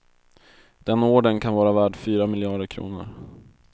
Den ordern kan vara värd fyra miljarder kronor.